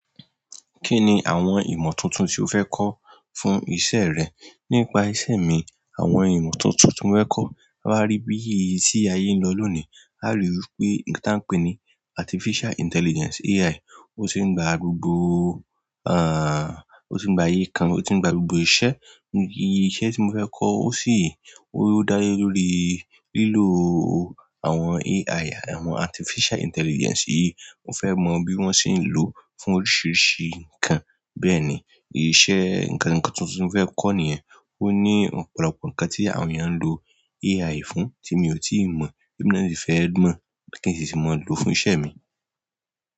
Kini àwọn ìmọ̀ tuntun ti o fẹ kọ fún iṣẹ́ rẹ? Nípa iṣẹ́ mi, àwọn ìmọ̀ tuntun tí mo fẹ́ kọ́, a máa rí ibi tí ayé ń lọ lónìí, a rí wipé nǹkan tí a n pé ni artificial intelligence, AI, ó ti ń gba gbogbo, à, ó ti ń gba aye kan, ó ti ń gba gbogbo iṣẹ́. Ní iṣẹ́ tí mo fẹ́ kọ́, ó sì, ó ń dá lé lórí lílo àwọn AI, àwọn artificial intelligence yìí. Mo fẹ́ mọ bí wọ́n ṣe ń lò ó fún oríṣiríṣi nǹkan. Bẹ́ẹ̀ni iṣẹ́, nǹkan tuntun ti mo fẹ kọ niyẹn, o ni ọ̀pọ̀lọpọ̀ nǹkan ti àwọn eeyan n lo Al fún ti mi o ti i mọ, ti emi náà si fẹ mọ, ki n si mọ lo fún iṣẹ́ mi.